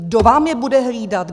Kdo vám je bude hlídat?